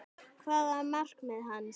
Hvað var markmið hans?